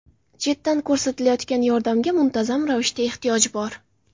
Chetdan ko‘rsatilayotgan yordamga muntazam ravishda ehtiyoj bor.